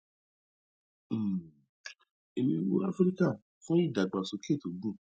um eni ń wo áfíríkà fún ìdàgbàsókè tó gùn